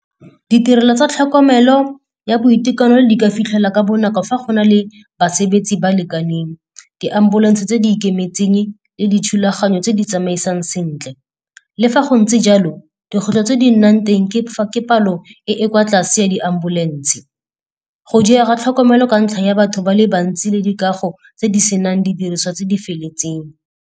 Ditirelo tsa tlhokomelo ya boitekanelo di ka fitlhela ka bonako fa go na le basebetse ba lekaneng, di-ambulance tse di ikemetseng le dithulaganyo tse di tsamaisang sentle. Le fa go ntse jalo, dikgwetlho tse di ka nnang teng ke palo e e kwa tlase ya di-ambulance. Go diega tlhokomelo ka ntlha ya batho ba le bantsi le dikago tse di senang didiriswa tse di feletseng.